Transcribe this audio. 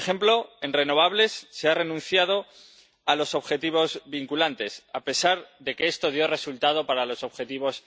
Por ejemplo, en renovables se ha renunciado a los objetivos vinculantes, a pesar de que esto dio resultado para los objetivos